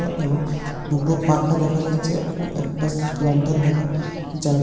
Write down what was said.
এবং দুটো পাখা দেখা যাচ্ছে এবং একটা ল্যান্টার্ন দেখা যার--